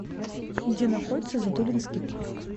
где находится затулинский парк